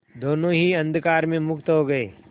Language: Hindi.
दोेनों ही अंधकार में मुक्त हो गए